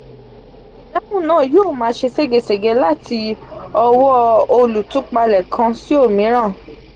idahun naa yoo maa se segesege lati owo olutupale kan si omiran.